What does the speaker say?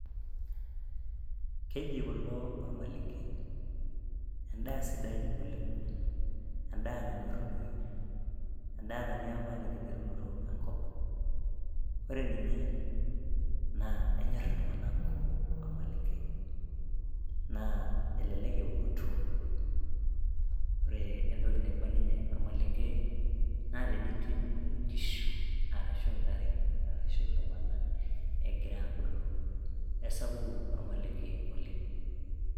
keji kulo ormalenke. edaa sidai oleng',edaa nanyorunoyu, edaa natii apa tenkiterunoto enkop. ore ninye, naa kenyor iltunganak kumok ormalenke, naa elelek eunoto, ore entoki naiba ninye ormalenke naa tenituny inkishu, arashu intare, arashu ltunganak, egira aabulu .esapuku ormalenke oleng.